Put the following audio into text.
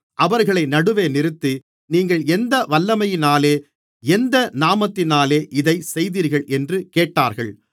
அவர்களை நடுவே நிறுத்தி நீங்கள் எந்த வல்லமையினாலே எந்த நாமத்தினாலே இதைச் செய்தீர்கள் என்று கேட்டார்கள்